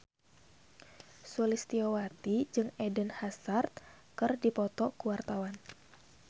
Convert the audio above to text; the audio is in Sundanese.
Sulistyowati jeung Eden Hazard keur dipoto ku wartawan